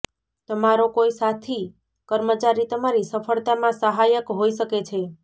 તમારો કોઈ સાથી કર્મચારી તમારી સફળતામાં સહાયક હોઈ શકે છે